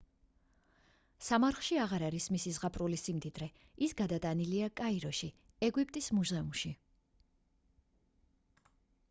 სამარხში აღარ არის მისი ზღაპრული სიმდიდრე ის გადატანილია კაიროში ეგვიპტის მუზეუმში